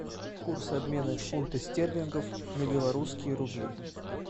курс обмена фунты стерлингов на белорусские рубли